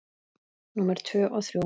Númer tvö og þrjú.